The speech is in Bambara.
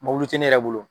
Mobili tɛ ne yɛrɛ bolo